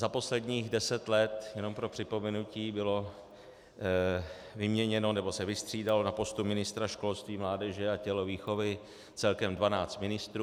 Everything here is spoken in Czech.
Za posledních deset let, jenom pro připomenutí, bylo vyměněno nebo se vystřídalo na postu ministra školství, mládeže a tělovýchovy celkem dvanáct ministrů.